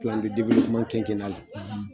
,;